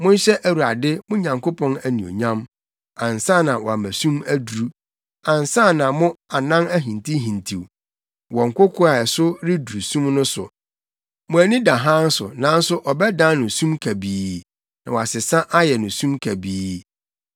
Monhyɛ Awurade, mo Nyankopɔn, anuonyam ansa na wama sum aduru, ansa na mo anan ahintihintiw wɔ nkoko a ɛso reduru sum no so. Mo ani da hann so, nanso ɔbɛdan no sum kusuu na wɔasesa ayɛ no sum kabii.